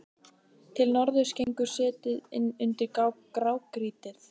Til norðurs gengur setið inn undir grágrýtið.